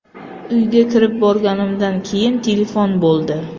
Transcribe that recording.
Uyga kirib borganimdan keyin telefon bo‘ldi.